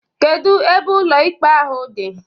Kedụ ebe ụlọ ikpe ahụ dị?